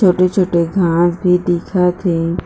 छोटे-छोटे घाँस भी दिखत हे।